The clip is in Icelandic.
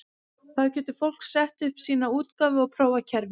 Þar getur fólk sett upp sína útgáfu og prófað kerfið.